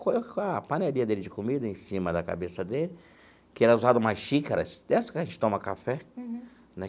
a panelinha dele de comida em cima da cabeça dele, que era usada uma xícaras, dessa que a gente toma café, né?